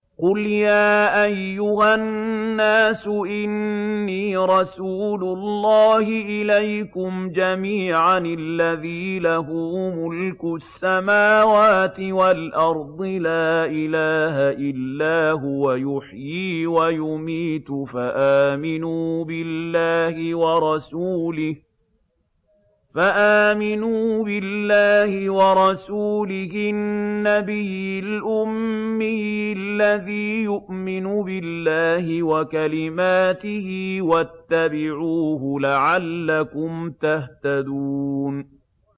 قُلْ يَا أَيُّهَا النَّاسُ إِنِّي رَسُولُ اللَّهِ إِلَيْكُمْ جَمِيعًا الَّذِي لَهُ مُلْكُ السَّمَاوَاتِ وَالْأَرْضِ ۖ لَا إِلَٰهَ إِلَّا هُوَ يُحْيِي وَيُمِيتُ ۖ فَآمِنُوا بِاللَّهِ وَرَسُولِهِ النَّبِيِّ الْأُمِّيِّ الَّذِي يُؤْمِنُ بِاللَّهِ وَكَلِمَاتِهِ وَاتَّبِعُوهُ لَعَلَّكُمْ تَهْتَدُونَ